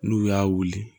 N'u y'a wuli